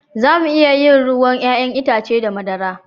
Za mu iya yin ruwan 'ya'yan itace da madara